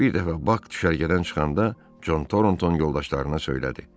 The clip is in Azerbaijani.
Bir dəfə Bak düşərgədən çıxanda Torton yoldaşlarına söylədi.